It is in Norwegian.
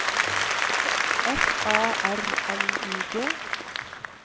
F A R L I G